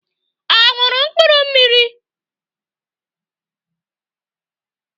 Ọ ṅụrụ mkpụrụ mmiri?